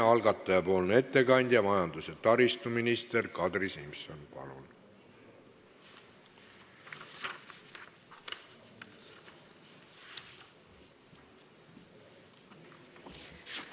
Algataja ettekandja majandus- ja taristuminister Kadri Simson, palun!